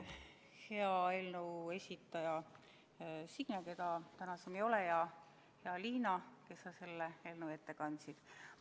Hea eelnõu esitaja Signe, keda täna siin ei ole, ja Liina, kes sa selle eelnõu ette kandsid!